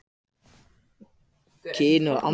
Sjónskynjun Hvernig verkar þrívídd í bíómyndum?